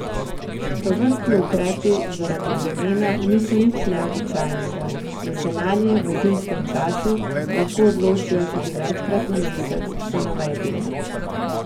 Tovrstni ukrepi zaradi vremena niso nič neobičajnega in se zanje v zimskem času lahko odločijo tudi večkrat na mesec, so navedli.